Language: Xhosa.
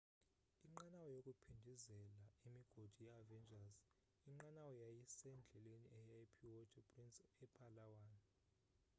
inqanawa yokuphindezela imigodi ye-avengers inqanawa yayisendleleni eya epuerto princesa epalawan